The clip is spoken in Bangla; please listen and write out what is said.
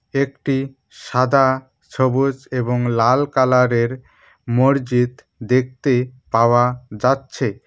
একটি সাদা সবুজ এবং লাল কালারের মরজিদ দেখতে পাওয়া যাচ্ছে।